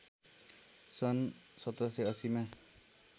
सन् १७८० मा